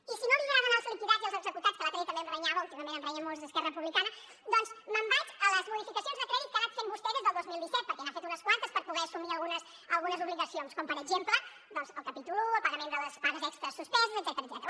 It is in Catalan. i si no li agraden els liquidats i els executats que l’altre dia també em renyava últimament em renyen molt els d’esquerra republicana doncs me’n vaig a les modificacions de crèdit que ha anat fent vostè des del dos mil disset perquè n’ha fet unes quantes per poder assumir algunes obligacions com per exemple el capítol un el pagament de les pagues extres suspeses etcètera